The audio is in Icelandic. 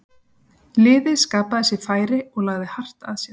Liðið skapaði sér færi og lagði hart að sér.